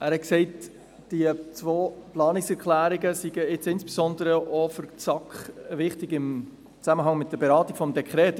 Er hat gesagt, die zwei Planungserklärungen seien jetzt insbesondere auch für die SAK, im Zusammenhang mit der Beratung des Dekrets, wichtig.